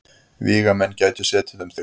Vígamenn gætu setið um þig.